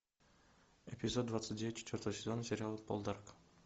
эпизод двадцать девять четвертого сезона сериала полдарк